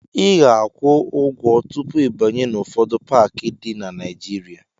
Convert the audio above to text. Ị ga-akwụ ụgwọ tupu ịbanye n'ụfọdụ paakị dị na Naịjịrịa.